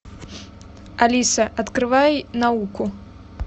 алиса открывай науку